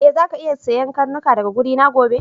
E, zaka kara iya siyan karnuka daga wurina gobe.